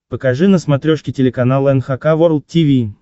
покажи на смотрешке телеканал эн эйч кей волд ти ви